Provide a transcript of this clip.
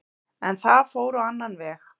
En það fór á annan veg.